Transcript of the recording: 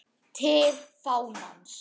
TIL FÁNANS